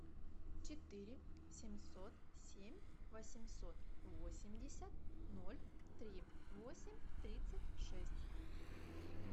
четыре семьсот семь восемьсот восемьдесят ноль три восемь тридцать шесть